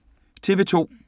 TV 2